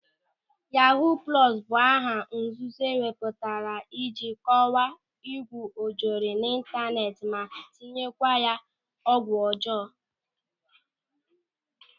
Yahuu plọsu bụ aha nzuzo e wepụtara iji kọwaa ịgwu ojoro n'ịntaneti ma tinyekwa ya ọgwụ ọjọọ.